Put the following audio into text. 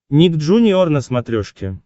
ник джуниор на смотрешке